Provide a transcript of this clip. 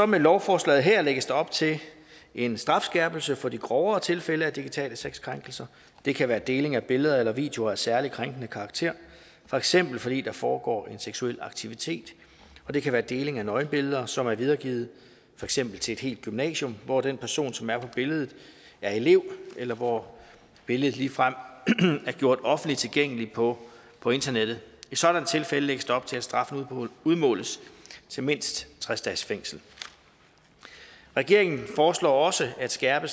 med lovforslaget her lægges der op til en strafskærpelse for de grovere tilfælde af digitale sexkrænkelser det kan være deling af billeder eller videoer af særlig krænkende karakter for eksempel fordi der foregår en seksuel aktivitet og det kan være deling af nøgenbilleder som er videregivet for eksempel til et helt gymnasium hvor den person som er på billedet er elev eller hvor billedet ligefrem er gjort offentligt tilgængelig på på internettet i sådanne tilfælde lægges der op til at straffen udmåles til mindst tres dages fængsel regeringen foreslår også at skærpe